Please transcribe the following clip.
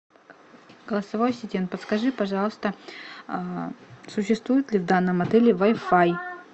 голосовой ассистент подскажи пожалуйста существует ли в данном отеле вай фай